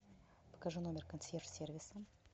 покажи номер консьерж сервиса